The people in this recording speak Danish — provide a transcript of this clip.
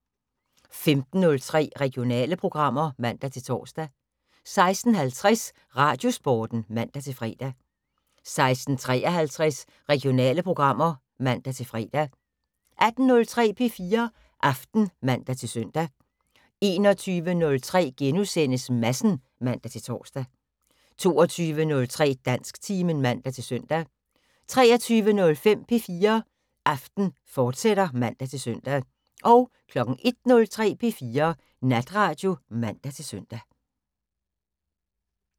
15:03: Regionale programmer (man-tor) 16:50: Radiosporten (man-fre) 16:53: Regionale programmer (man-fre) 18:03: P4 Aften (man-søn) 21:03: Madsen *(man-tor) 22:03: Dansktimen (man-søn) 23:05: P4 Aften, fortsat (man-søn) 01:03: P4 Natradio (man-søn)